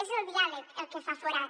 és el diàleg el que fa forat